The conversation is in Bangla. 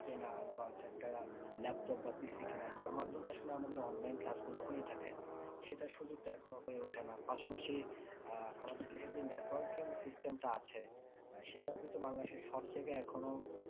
কেনার বা একটা laptop বা PC কেনার যার মাধ্যমে আসলে আমাদের online class গুলো হয়ে থাকে সেটা এখনো হয়ে ওঠে না পাশাপাশি আহ আমাদের দেশে যে networking system টা আছে আহ সেটাও কিন্তু বাংলাদেশের সব জায়গায় এখনো